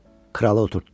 Kralı oturtddu.